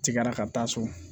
Tigɛra ka taa so